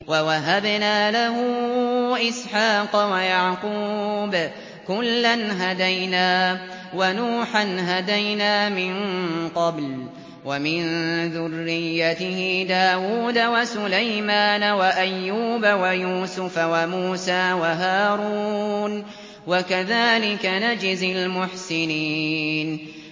وَوَهَبْنَا لَهُ إِسْحَاقَ وَيَعْقُوبَ ۚ كُلًّا هَدَيْنَا ۚ وَنُوحًا هَدَيْنَا مِن قَبْلُ ۖ وَمِن ذُرِّيَّتِهِ دَاوُودَ وَسُلَيْمَانَ وَأَيُّوبَ وَيُوسُفَ وَمُوسَىٰ وَهَارُونَ ۚ وَكَذَٰلِكَ نَجْزِي الْمُحْسِنِينَ